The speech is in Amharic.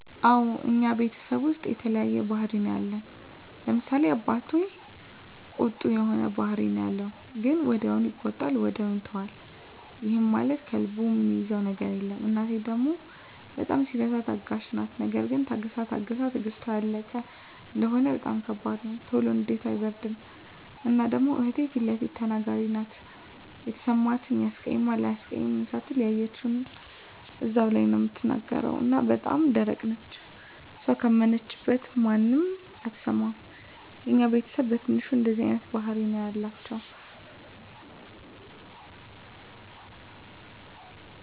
አወ እኛ ቤተሰብ ዉስጥ የተለያየ ባህሪ ነዉ ያለን፤ ለምሳሌ፦ አባቴ ቁጡ የሆነ ባህሪ ነዉ ያለዉ ግን ወዲያዉ ይቆጣል ወዲያዉ ይተወዋል ይህም ማለት ከልቡ እሚይዘዉ ነገር የለም፣ እናቴ ደሞ በጣም ሲበዛ ታጋሽ ናት ነገር ግን ታግሳ ታግሳ ትግስቷ ያለቀ እንደሆነ በጣም ከባድ ነዉ። ቶሎ ንዴቷ አይበርድም እና ደሞ እህቴ ፊለፊት ተናጋሪ ናት የተሰማትን ያስቀይማል አያስቀይምም ሳትል ያየችዉን እዛዉ ላይ ነዉ እምትናገር እና በጣም ደረቅ ነች እሷ ካመነችበት ማንንም አትሰማም። የኛ ቤተስብ በትንሹ እንደዚህ አይነት ባህሪ ነዉ ያላቸዉ።